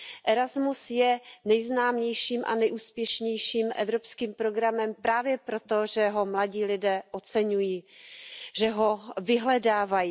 Erasmus je nejznámějším a nejúspěšnějším evropským programem právě proto, že ho mladí lidé oceňují, že ho vyhledávají.